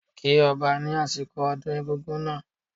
Kí Ọba ni asiko ọdún egungun náà